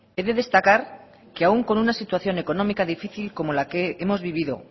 he de destacar que aún con una situación económica difícil como la que hemos vivido